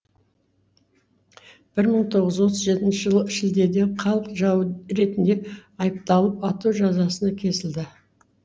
бір мың тоғыз жүз отыз жетінші жылы шілдеде халық жауы ретінде айыпталып ату жазасына кесілді